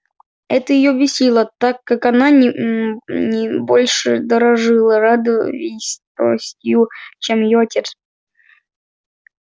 это её бесило так как она не больше дорожила родовитостью чем её отец